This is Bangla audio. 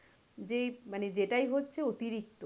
যেই মানে যেটাই হচ্ছে অতিরিক্ত